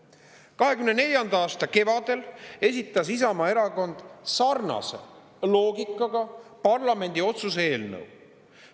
2024. aasta kevadel esitas Isamaa Erakond sarnase loogikaga parlamendi otsuse eelnõu.